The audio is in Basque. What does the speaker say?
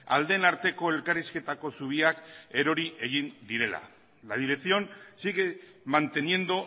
aldeen arteko elkarrizketako zubiak erori egin direla la dirección sigue manteniendo